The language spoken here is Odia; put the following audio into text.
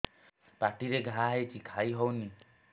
ପାଟିରେ ଘା ହେଇଛି ଖାଇ ହଉନି